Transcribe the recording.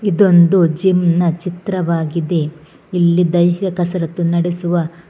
ಇದೊಂದು ಜಿಮ್ ನ ಚಿತ್ರವಾಗಿದೆ ಇಲ್ಲಿ ದೈಹ ಕಾಸರತ್ತು ನಡೆಸುವ--